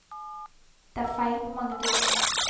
Det er feil på mange dører.